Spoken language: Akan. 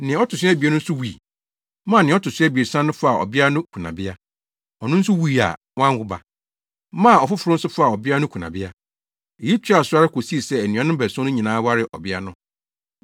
Nea ɔto so abien no nso wui, maa nea ɔto so abiɛsa no faa ɔbea no kunabea. Ɔno nso wui a wanwo ba, maa ɔfoforo nso faa ɔbea no kunabea. Eyi toaa so ara kosii sɛ anuanom baason no nyinaa waree ɔbea no.